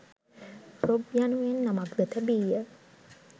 ‘Rob‘ යනුවෙන් නමක් ද තැබීය.